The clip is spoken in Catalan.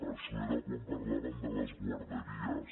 això era quan parlàvem de les guarderies